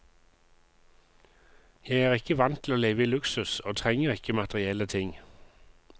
Jeg er ikke vant til å leve i luksus, og trenger ikke materielle ting.